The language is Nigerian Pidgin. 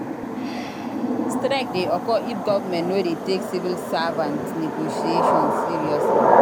Strike de occur if government no de take civil servants negotiation seriously